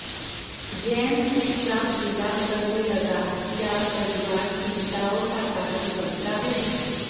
जैन चुपचाप विलाप करने लगे क्या परिवार चिंताओं का कारण बनता है